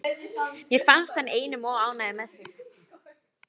Mér finnst hann einum of ánægður með sig.